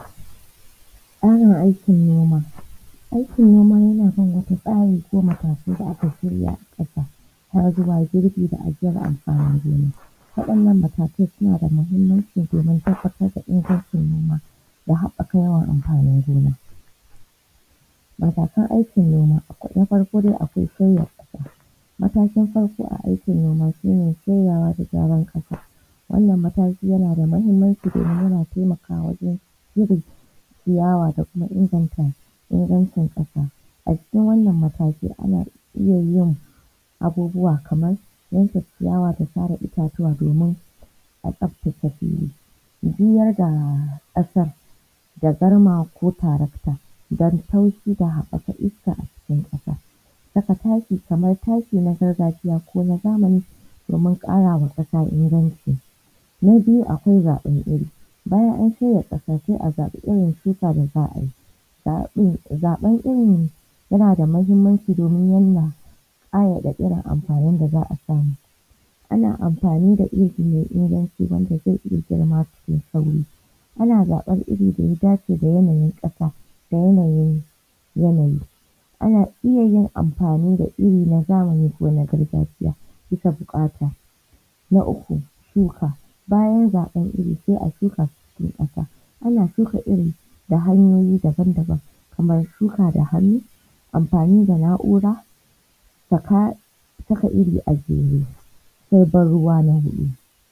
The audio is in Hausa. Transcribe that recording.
Tsarin aikin noma. Aikin noma yana kan wasu tsari ko matakai da aka shirya a ƙasa har zuwa girbi da cire amfanin gona. Waɗannan matakai suna da muhimmanci domin tabbatar da ingancin noma da haɓɓaka yawan amfanin gona. Matakan aikin noma: Na farko dai akwai sauya ƙasa; matakin farko a aikin noma shine sauyawa da gyaran ƙasa, wannan mataki yana da muhimmanci domin yana taimakawa wajen cire ciyawa da kuma inganta ingancin ƙasa a cikin wannan mataki ana iya yin abubuwa kamar yanke ciyawa da sare itatuwa domin a tsabtace fili. Juyar da ƙasar da garma ko tarakta don taushi da haɓaka iska a cikin ƙasa, saka taki kamar taki na gargajiya ko na zamani domin ƙarawa ƙasa inganci. Na biyu akwai zaɓen iri bayan an tona ƙasa sai a zaɓi irin shukar da za a yi. Zaɓin zaɓar irin yana da muhimmanci domin yana a amfanin da za a samu, ana amfani da iri mai inganci wanda zai iya girma cikin sauri, ana zaɓar irin da ya dace yanayin ƙasa da yanayin yanayi. Ana iya yin amfani da iri na zamani ko na gargajiya bisa buƙata. Na uku, shuka, bayan zaɓan iri sai a shuka su cikin ƙasa, ana shuka iri ta hanyoyi daban-daban kamar shuka da hannu, amfani da na’ura, saka saka iri a jere sai ban ruwa na huɗu.